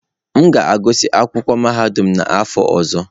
M ga-agụsị akwụkwọ mahadum n'afọ ọzọ.